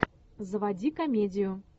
заводи комедию